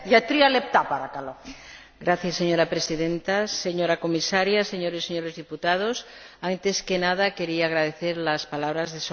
Señora Presidenta, señora Comisaria, señoras y señores diputados, antes que nada querría agradecer las palabras de solidaridad de la señora Comisaria.